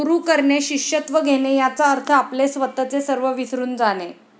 गुरु करणे, शिष्यत्व घेणे याचा अर्थ आपले स्वतःचे सर्व विसरून जाणे.